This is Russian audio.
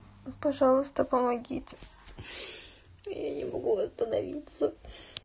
пожалуйста помогите я не могу восстановиться